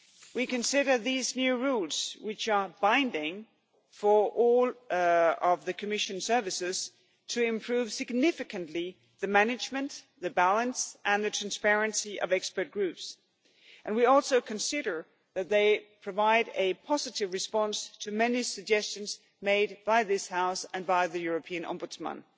We consider these new rules, which are binding for all of the Commission services, to improve significantly the management, the balance and the transparency of expert groups and we also consider that they provide a positive response to many suggestions made by this House and by the European Ombudsman.